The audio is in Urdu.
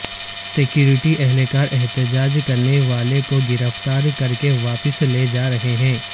سیکورٹی اہلکار احتجاج کرنے والے کو گرفتار کر کے واپس لے جا رہے ہیں